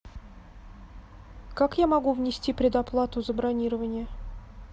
как я могу внести предоплату за бронирование